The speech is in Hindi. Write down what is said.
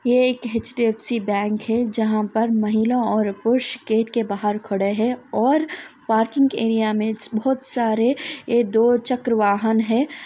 ये एक एच_डी_एफ_सी बैंक है जहाँ पर महिला और पुरुष गेट के बाहर खड़े है और पार्किंग एरिया में बहुत सारे ये दो चक्र वाहन है।